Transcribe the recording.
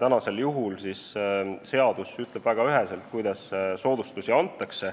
Praegusel juhul ütleb seadus väga üheselt, kuidas soodustusi antakse,